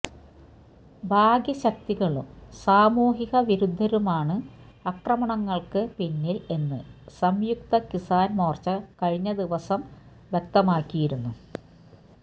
ബാഹ്യ ശക്തികളും സാമൂഹിക വിരുദ്ധരുമാണ് അക്രമണങ്ങൾക്ക് പിന്നിൽ എന്ന് സംയുക്ത കിസാൻ മോർച്ച കഴിഞ്ഞ ദിവാസം വ്യക്തമാക്കിയിരുന്നു